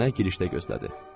Nənə girişdə gözlədi.